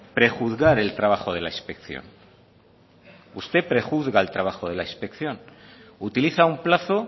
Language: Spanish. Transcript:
prejuzgar el trabajo de la inspección usted prejuzga el trabajo de la inspección utiliza un plazo